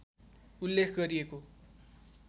उल्लेख गरिएको